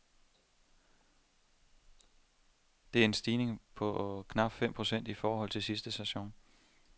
Det er en stigning på knapt fem procent i forhold til sidste sæson.